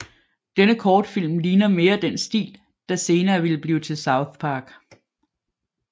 Denne kortfilm ligner mere den stil der senere ville blive til South Park